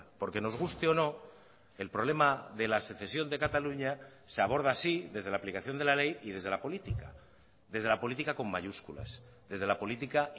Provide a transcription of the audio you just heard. porque nos guste o no el problema de la secesión de cataluña se aborda así desde la aplicación de la ley y desde la política desde la política con mayúsculas desde la política